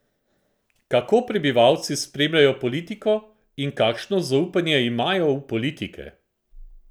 Kako prebivalci spremljajo politiko in kakšno zaupanje imajo v politike?